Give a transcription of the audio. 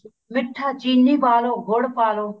ਮਿੱਠਾ ਚਿੰਨੀ ਪਾ ਲੋ ਗੁੜ ਪਾ ਲੋ